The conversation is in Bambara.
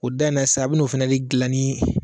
O da in na sisan a bɛ n'o fɛnɛ de dilan ni